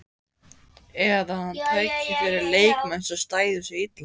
Eða að hann tæki fyrir leikmenn, sem stæðu sig illa?